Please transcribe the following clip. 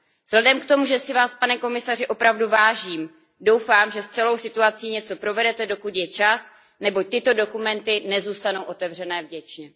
Vzhledem k tomu, že si Vás, pane komisaři, opravdu vážím, doufám, že s celou situací něco provedete, dokud je čas, neboť tyto dokumenty nezůstanou otevřené věčně.